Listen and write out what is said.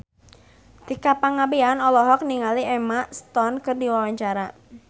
Tika Pangabean olohok ningali Emma Stone keur diwawancara